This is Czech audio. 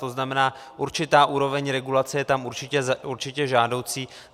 To znamená, určitá úroveň regulace je tam určitě žádoucí.